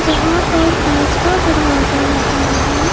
जहां पर कांच का दरवाजा लगा है।